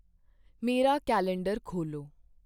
ਮੇਰਾ ਕੈਲੰਡਰ ਖੋਲ੍ਹੋ।